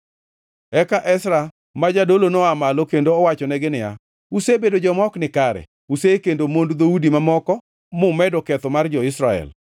Eka Ezra ma jadolo noa malo kendo owachonegi niya, “Usebedo joma ok nikare; usekendo mond dhoudi mamoko, mumedo ketho mar jo-Israel.